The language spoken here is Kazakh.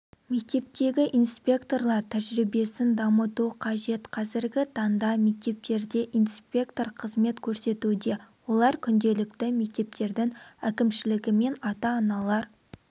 мектептегі инспекторлар тәжірибесін дамыту қажет қазіргі таңда мектептерде инспектор қызмет көрсетуде олар күнделікті мектептердің әкімшілігімен ата-аналар